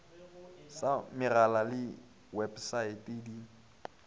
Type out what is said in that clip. sa megala le websaete di